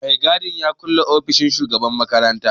Mai gadi ya kulle ofishin shugaban makaranta.